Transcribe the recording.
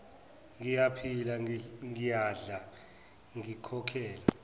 ngiyaphila ngiyadla ngikhokhela